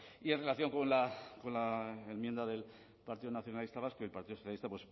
y en relación con la enmienda del partido nacionalista vasco y el partido socialista